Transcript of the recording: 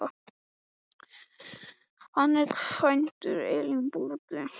Hann var kvæntur Elínborgu Þorláksdóttur, föðursystur minni.